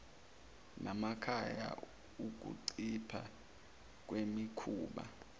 namakhaya ukuncipha kwemikhuba